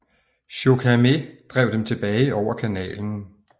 Chokarmé drev dem tilbage over kanalen